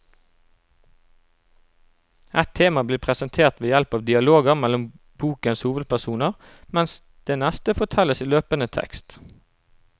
Ett tema blir presentert ved hjelp av dialoger mellom bokens hovedpersoner, mens det neste fortelles i løpende tekst.